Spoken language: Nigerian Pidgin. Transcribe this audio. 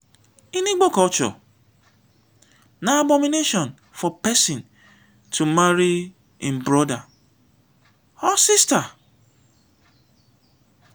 in igbo culture na abomination for pesin to marry im brother or sister.